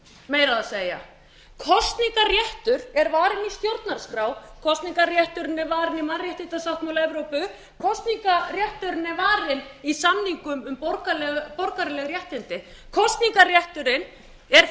meir að segja kosningarréttur er varinn í stjórnarskrá kosningarrétturinn er varinn í mannréttindasáttmála evrópu kosningarrétturinn er varinn í samningum um borgaraleg réttindi kosningarrétturinn er eitt það mikilvægasta